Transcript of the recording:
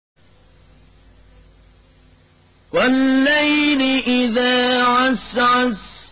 وَاللَّيْلِ إِذَا عَسْعَسَ